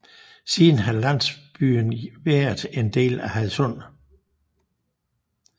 Siden har landsbyen været en del af Hadsund